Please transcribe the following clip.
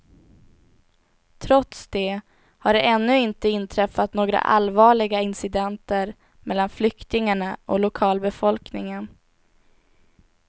Trots det har det ännu inte inträffat några allvarliga incidenter mellan flyktingarna och lokalbefolkningen.